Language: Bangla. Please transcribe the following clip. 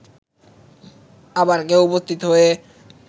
আবার কেউ উপস্থিত হয়ে